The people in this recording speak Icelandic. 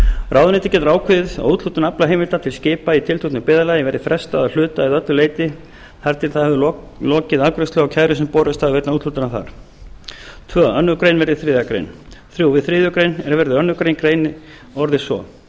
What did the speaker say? ráðuneytið getur ákveðið að úthlutun aflaheimilda til skipa í tilteknu byggðarlagi verði frestað að hluta eða öllu leyti þar til það hefur lokið afgreiðslu á kærum sem borist hafa vegna úthlutunar þar annað önnur grein verði þriðja grein þriðja við þriðju grein er verði annarri grein greinin orðist svo